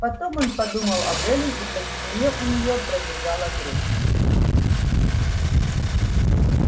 потом он подумал об эллин и по спине у неё пробежала дрожь